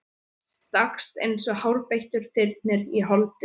Stakkst eins og hárbeittur þyrnir í holdið.